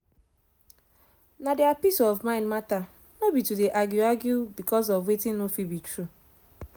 na deir peace of mind matter nor be to dey argue argue becos of wetin nor fit be true